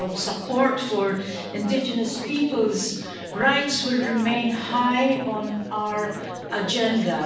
So support for indigenous people's rights will remain high on our agenda.